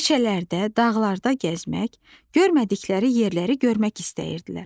Meşələrdə, dağlarda gəzmək, görmədikləri yerləri görmək istəyirdilər.